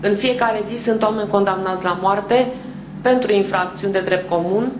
În fiecare zi sunt oameni condamnați la moarte pentru infracțiuni de drept comun